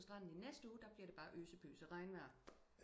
På standen i næste ude der bliver det bare øse pøse regnvejr